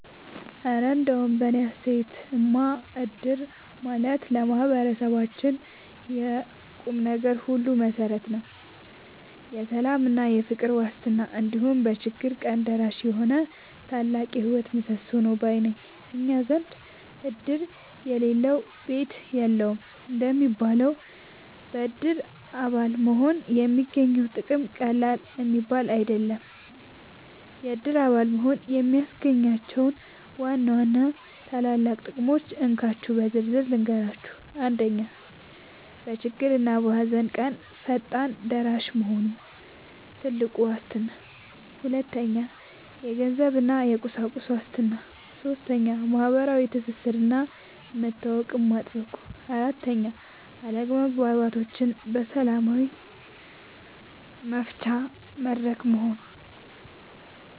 እረ እንደው በእኔ አስተያየትማ እድር ማለት ለማህበረሰባችን የቁምነገር ሁሉ መሠረት፣ የሰላምና የፍቅር ዋስትና፣ እንዲሁም በችግር ቀን ደራሽ የሆነ ታላቅ የህይወት ምሰሶ ነው ባይ ነኝ! እኛ ዘንድ "እድር የሌለው ሰው ቤት የለውም" እንደሚባለው፣ በእድር አባል መሆን የሚገኘው ጥቅም ቀላል የሚባል አይደለም። የእድር አባል መሆን የሚያስገኛቸውን ዋና ዋና ታላላቅ ጥቅሞች እንካችሁ በዝርዝር ልንገራችሁ፦ 1. በችግርና በሃዘን ቀን ፈጣን ደራሽ መሆኑ (ትልቁ ዋስትና) 2. የገንዘብና የቁሳቁስ ዋስትና 3. ማህበራዊ ትስስርና መተዋወቅን ማጥበቁ 4. አለመግባባቶችን በሰላም መፍቻ መድረክ መሆኑ